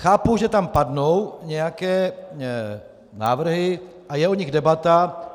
Chápu, že tam padnou nějaké návrhy a je o nich debata.